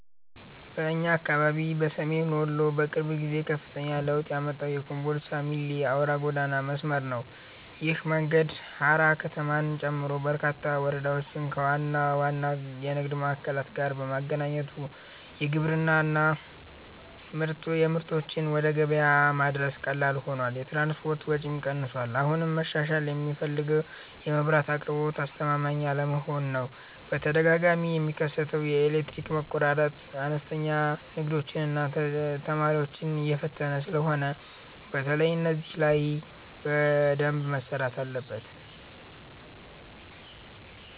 በእኛ አካባቢ በሰሜን ወሎ በቅርብ ጊዜ ከፍተኛ ለውጥ ያመጣው የኮምቦልቻ - ሚሌ አውራ ጎዳና መስመር ነው። ይህ መንገድ ሃራ ከተማን ጨምሮ በርካታ ወረዳዎችን ከዋና ዋና የንግድ ማዕከላት ጋር በማገናኘቱ የግብርና ምርቶችን ወደ ገበያ ማድረስ ቀላል ሆኗል፤ የትራንስፖርት ወጪም ቀንሷል። አሁንም መሻሻል የሚፈልገው የመብራት አቅርቦት አስተማማኝ አለመሆን ነው፤ በተደጋጋሚ የሚከሰተው የኤሌክትሪክ መቆራረጥ አነስተኛ ንግዶችንና ተማሪዎችን እየፈተነ ስለሆነ በተለይ እዚህ ላይ በደንብ መሰራት አለበት።